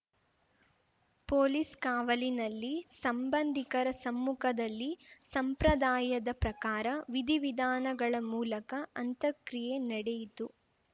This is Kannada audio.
ಪೊಲೀಸ್‌ ಕಾವಲಿನಲ್ಲಿ ಸಂಬಂಧಿಕರ ಸಮ್ಮುಖದಲ್ಲಿ ಸಂಪ್ರದಾಯದ ಪ್ರಕಾರ ವಿಧಿವಿಧಾನಗಳ ಮೂಲಕ ಅಂತಕ್ರಿಯೆ ನಡೆಯಿತು